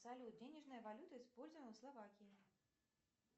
салют денежная валюта используемая в словакии